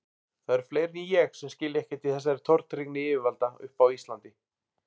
Það eru fleiri en ég sem skilja ekkert í þessari tortryggni yfirvalda uppi á Íslandi.